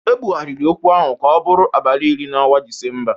Ebụgharịrị okwu ahụ ka ọ bụrụ abalị iri n'ọnwa Disemba